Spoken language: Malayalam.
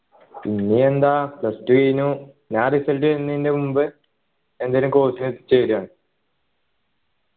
ഇനി എന്താ plus two കഴിഞ്ഞു ആ result വരുന്നതിൻ്റെ മുമ്പ് എന്തേലും course നു ചേരുവാണ്